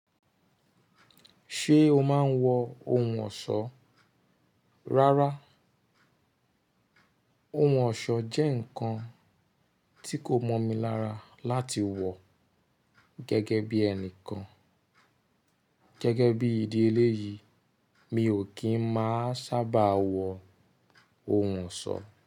Ṣé o máa ń wọ ohun ọ̀ṣọ́? Rárá, ohun ọ̀ṣọ́ jẹ́ nǹkan tí kò mọ̀ mi lára láti wọ gẹ́gẹ́ bí ẹnìkan. Gẹ́gẹ́ bí ìdí eléyìí, mi ò kí ń máa sábà wọ ohun ọ̀ṣọ́